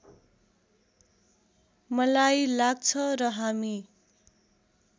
मलाई लाग्छ र हामी